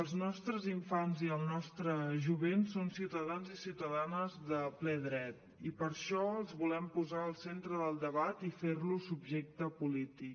els nostres infants i el nostre jovent són ciutadans i ciutadanes de ple dret i per això els volem posar el centre del debat i fer los subjecte polític